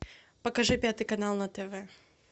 покажи пятый канал на тв